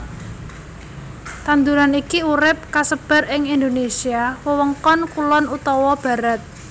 Tanduran iki urip kasebar ing Indonésia wewengkon kulon utawa barat